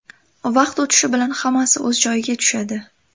Vaqt o‘tishi bilan hammasi o‘z joyiga tushadi.